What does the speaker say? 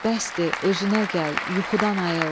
Bəsdir, özünə gəl, yuxudan ayıl.